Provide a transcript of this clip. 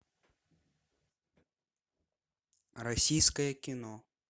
российское кино